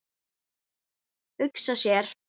Hugsa sér.